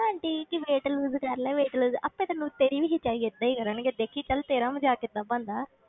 Aunty ਕਿ wait loss ਕਰ ਲਾ wait loss ਆਪੇ ਤੈਨੂੰ ਤੇਰੀ ਵੀ ਖਿਚਾਈ ਏਦਾਂ ਹੀ ਕਰਨਗੇ, ਦੇਖੀ ਚੱਲ ਤੇਰਾ ਮਜਾਕ ਕਿੱਦਾਂ ਬਣਦਾ।